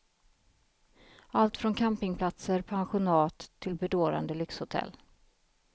Allt från campingplatser, pensionat till bedårande lyxhotell.